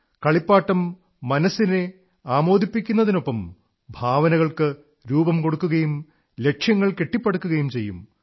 കളിപ്പാട്ടം മനസ്സിനെ ആമോദിപ്പിക്കുന്നതിനൊപ്പം ഭാവനകൾക്കു രൂപം കൊടൂക്കുകയും ലക്ഷ്യങ്ങൾ കെട്ടിപ്പടുക്കുകയും ചെയ്യും